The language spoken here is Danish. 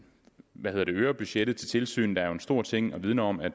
hvad hedder det øger budgettet til tilsynet er jo en stor ting og vidner om at